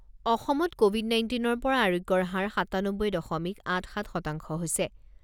অসমত ক’ভিড নাইণ্টিনৰ পৰা আৰোগ্যৰ হাৰ সাতানব্বৈ দশমিক আঠ সাত শতাংশ হৈছে।